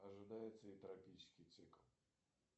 ожидается ли тропический цикл